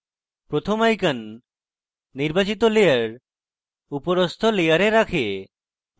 প্রথম icon নির্বাচিত layer উপরস্থ layer রাখে